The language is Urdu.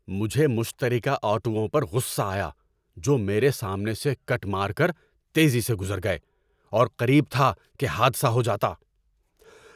مجھے مشترکہ آٹوؤں پر غصہ آیا جو میرے سامنے سے کٹ مار کر تیزی سے گزر گئے اور قریب تھا کہ حادثہ ہو جاتا۔